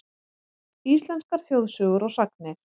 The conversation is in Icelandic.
Íslenskar þjóðsögur og sagnir.